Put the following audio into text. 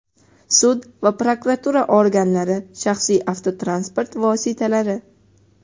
sud va prokuratura organlari shaxsiy avtotransport vositalari;.